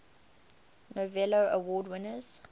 novello award winners